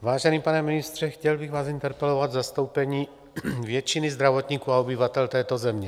Vážený pane ministře, chtěl bych vás interpelovat v zastoupení většiny zdravotníků a obyvatel této země.